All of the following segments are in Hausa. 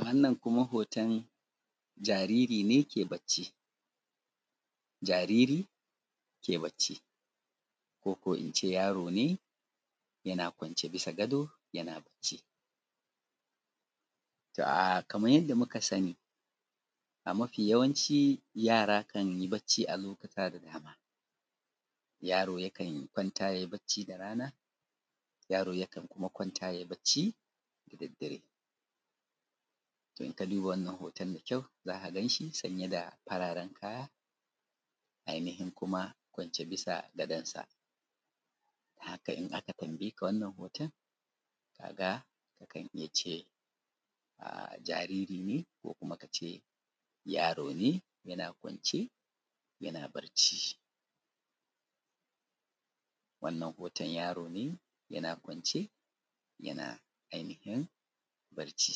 Wannan kuma hoton jariri ne ke bacci, jariri ke bacci ko in ce yaro ne yana kwance bisa gado yana bacci. To, um kaman yanda muka sani, mafi yawanci yara kan yi bacci a lokuta da dama. Yaro yakan kwanta yai bacci da rana, yaro yakan kuma kwanta yai bacci da daddare. To, in ka duba wannan hoton da kyau, za ka gan shi sanye da fararen kaya, ainahin kuma kwance bisa gadonsa. Kai in aka tambaye ka wannan hoton, ka ga kan iya ce a jariri ne ko kuma ka ce yaro ne yana kwance yana barci. Wannan hoton, yaro ne yana kwance yana ainafin barci.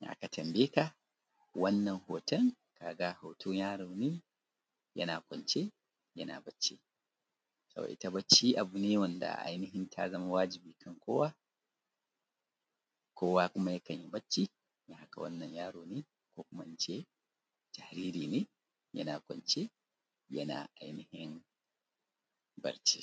In aka tambaye ka wannan hoton, ka a hoton yaro ne, yana kwance yana bacci. To, ita bacci abu ne wanda ainafin ta zama wajibi kan kowa, kowa kuma yakanyi bacci, haka kuma wannan yaro ne jariri ne yana kwance yana ainihin barci.